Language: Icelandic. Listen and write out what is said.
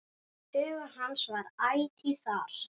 Hugur hans var ætíð þar.